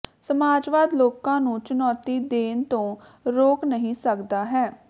ਸਮਾਜਵਾਦ ਲੋਕਾਂ ਨੂੰ ਚੁਣੌਤੀ ਦੇਣ ਤੋਂ ਰੋਕ ਨਹੀਂ ਸਕਦਾ ਹੈ